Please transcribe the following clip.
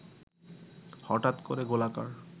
হঠাৎ করে গোলাকার